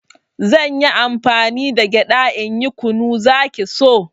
Zanyi amfani da gyaɗa in yi kunu, zaki so